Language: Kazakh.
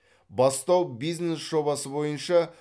бастау бизнес жобасы бойынша